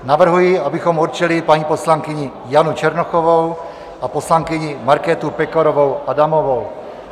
Navrhuji, abychom určili paní poslankyni Janu Černochovou a poslankyni Markétu Pekarovou Adamovou.